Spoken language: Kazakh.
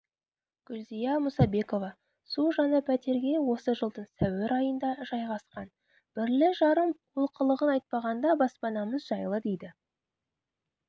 гүлзия мұсабекова су жаңа пәтерге осы жылдың сәуір айында жайғасқан бірлі-жарым олқылығын айтпағанда баспанамыз жайлы дейді